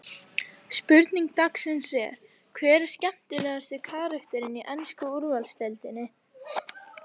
Spurning dagsins er: Hver er skemmtilegasti karakterinn í ensku úrvalsdeildinni?